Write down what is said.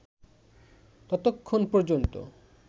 ততক্ষণ পর্যন্ত